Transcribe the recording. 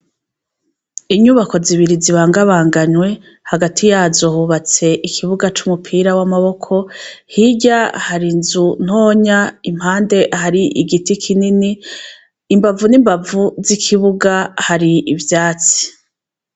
Inyubako zibiri zibangabanganywe hagati yazo hubatse ikibuga c'umupira w'amaboko; hirya har'inzu ntonya; Impande har'igiti kinini; imbavu n'imbavu z'ikibuga har'ivyatsi.